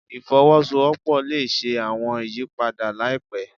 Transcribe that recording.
Ifowosowopo le ṣe awọn iyipada laipẹ